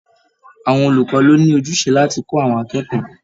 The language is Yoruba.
Àwọn olùkọ ló ní ojúṣe láti kọ àwọn akẹ́kọ̀ọ́.